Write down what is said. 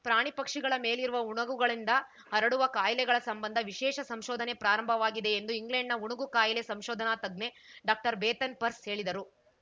ಪ್ರಾಣಿ ಪಕ್ಷಿಗಳ ಮೇಲಿರುವ ಉಣುಗುಗಳಿಂದ ಹರಡುವ ಕಾಯಿಲೆಗಳ ಸಂಬಂಧ ವಿಶೇಷ ಸಂಶೋಧನೆ ಪ್ರಾರಂಭವಾಗಿದೆ ಎಂದು ಇಂಗ್ಲೆಂಡ್‌ನ ಉಣುಗು ಕಾಯಿಲೆ ಸಂಶೋಧನಾ ತಜ್ಞೆ ಡಾಕ್ಟರ್ಬೇತನ್‌ ಪರ್ಸ್‌ ಹೇಳಿದರು